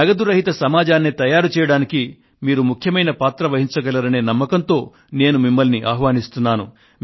నగదు రహిత సమాజాన్ని తయారు చేయడానికి మీరు ముఖ్యమైన పాత్ర వహించగలరనే నమ్మకంతో నేను మిమ్మల్ని ఆహ్వానిస్తున్నాను